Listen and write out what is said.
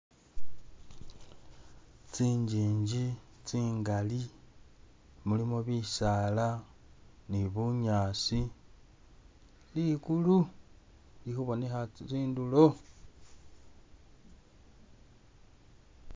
Tsinjinji tsingali mulimo bisaala ni bunyaasi, likulu! lili khubonekha tsindulo